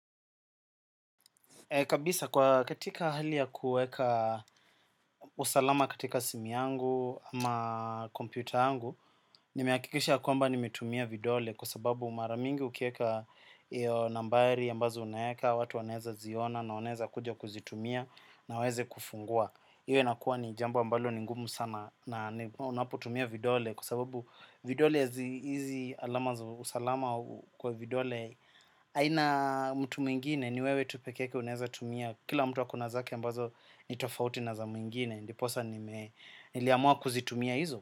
Kabisa kwa katika hali ya kuweka usalama katika simu yangu ama kompyuta yangu, nimehakikisha kwamba nimetumia vidole kwa sababu mara mingi ukiweka hiyo nambari ambazo unaweka, watu wanaweza ziona na wanaweza kuja kuzitumia na waweze kufungua. Hio inakuwa ni jambo ambalo ni ngumu sana na unapotumia vidole kwa sababu vidole hizi alama za usalama kwa vidole haina mtu mwingine ni wewe tu peke yake unaweza tumia. Kila mtu ako na zake ambazo ni tofauti na za mwingine ndiposa niliamua kuzitumia hizo.